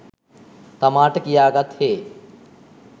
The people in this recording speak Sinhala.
තමාට කියාගත් හේ